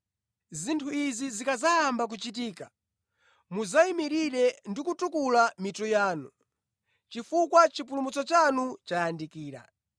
Zinthu izi zikadzayamba kuchitika, mudzayimirire ndi kutukula mitu yanu, chifukwa chipulumutso chanu chayandikira.”